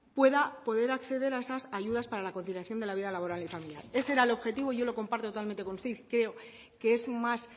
pueda poder acceder a esas ayudas para la conciliación de la vida laboral y familiar ese era el objetivo y yo lo comparto totalmente con usted y creo que es más